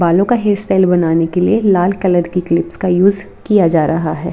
बालों का hair style बनाने के लिए लाल कलर की क्लिप्स का यूज किया जा रहा है।